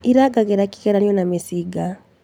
Irangagĩra kĩgeranio na mĩcinga